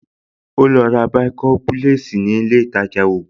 Ó lọ ra bàìkọ́ḿpúlẹ́ẹ̀sì ní ilé ìtajà ògùn